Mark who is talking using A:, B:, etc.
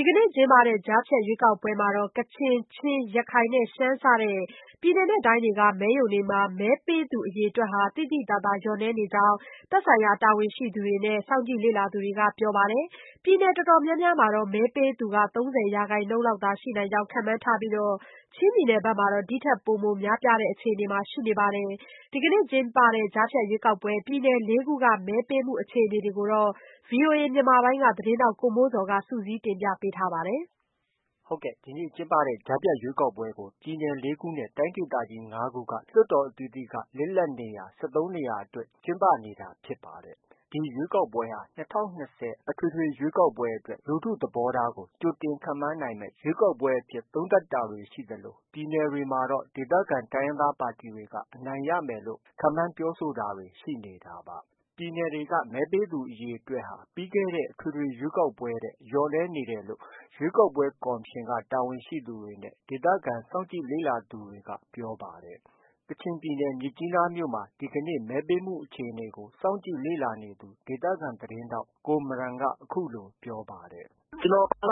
A: ီကနေ့ ကျင်းပတဲ့ ကြားဖြတ်ရွေးကောက်ပွဲမှာ ကချင်၊ ချင်း၊ ရခိုင်နဲ့ ရှမ်းစတဲ့ ပြည်နယ်က မဲရုံတွေမှာ မဲပေးသူ အရေအတွက်ဟာ သိသိသာသာ လျော့နည်းနေကြောင်း သက်ဆိုင်ရာ တာဝန်ရှိသူတွေနဲ့ စောင့်ကြည့်လေ့လာ သူတွေက ပြောပါတယ်။ ပြည်နယ်အတော်များများမှာ မဲပေးသူ ၃၀ ရာခိုင်နှုန်း လောက်သာရှိနိုင်ကြောင်း ခန့်မှန်းထားပြီး ချင်းပြည်နယ်မှာတော့ ဒီထက် ပိုမိုများပြားတဲ့အခြေအနေ ရှိနေပါတယ်။ ဒီနေ့ကျင်းပတဲ့ ကြားဖြတ် ရွေးကောက်ပွဲမှာ ပြည်နယ် ၄ ခုက မဲပေးမှုအခြေအနေတွေ ကို ဗွီအိုအေမြန်မာပိုင်းသတင်းထောက် ကိုမိုးဇော်က တင်ပြထားပါတယ်။ ဒီနေ့ကျင်းပတဲ့ ကြားဖြတ်ရွေးကောက်ပွဲကို ပြည်နယ် ၄ ခုနဲ့ တိုင်းဒေသကြီး ၅ ခု က လွှတ်တော် အသီးသီးက လစ်လပ်နေရာ ၁၃ နေရာ အတွက် ကျင်းပနေတာ ဖြစ်ပါတယ်။ ဒီရွေးကောက်ပွဲဟာ ၂၀၂၀ အထွေထွေရွေးကောက်ပွဲအတွက် လူထုသဘောထားတွေကို ကြိုတင်ခန့်မှန်း နိုင်မယ့် ရွေးကောက်ပွဲအဖြစ်သုံးသပ်တာတွေ ရှိသလို ပြည်နယ်တွေမှာတော့ ဒေသခံ တိုင်းရင်းသားပါတီတွေက အနိုင်ရမယ်လို့ ခန့်မှန်းပြောဆိုတာတွေ ရှိနေတာပါ။ မဲပေးသူအရေအတွက်ဟာ ပြီးခဲ့တဲ့ အထွေထွေ ရွေးကောက်ပွဲထက် လျော့နည်းနေတယ်လို့ ရွေးကောက်ပွဲ ကော်မရှင်က တာဝန်ရှိသူတွေနဲ့ ဒေသခံ စောင့်ကြည့်လေ့လာသူတွေက ပြောပါတယ်။ ကချင်ပြည်နယ် မြစ်ကြီးနားမြို့မှာ ဒီကနေ့ မဲပေးမှုအခြေအနေကို စောင့်ကြည့်လေ့လာနေသူ ဒေသခံ သတင်းထောက် ကိုမရန်က အခုလို ပြောပါတယ်။ “ကျနော်
B: ၁